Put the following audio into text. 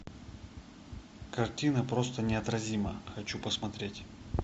картина просто неотразима хочу посмотреть